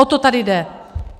O to tady jde!